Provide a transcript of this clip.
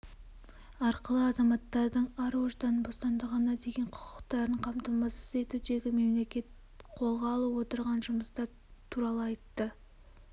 арқылы азаматтардың ар-ождан бостандығына деген құқықтарын қамтамасыз етудегі мемлекет қолға алып отырған жұмыстар туралы айтты